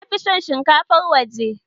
Na fi son shinkafar waje.